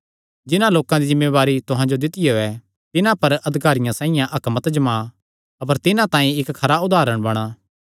जिन्हां लोकां दी जिम्मेवारी तुहां जो दित्तियो ऐ तिन्हां पर अधिकारियां साइआं हक्क मत जता अपर तिन्हां तांई इक्क खरा उदारण बणा